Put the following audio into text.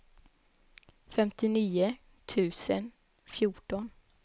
femtionio tusen fjorton